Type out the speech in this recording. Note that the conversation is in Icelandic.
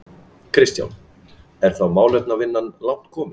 Kristján: Er þá málefnavinna langt komin?